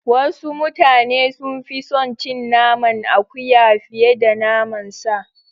Wasu mutane sun fi son cin naman akuya fiye da naman sa.